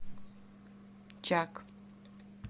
чак